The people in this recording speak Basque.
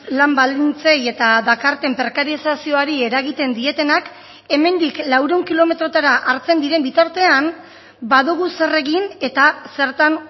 lan baldintzei eta dakarten prekarizazioari eragiten dietenak hemendik laurehun kilometrotara hartzen diren bitartean badugu zer egin eta zertan